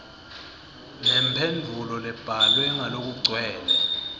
nemphendvulo lebhalwe ngalokugcwele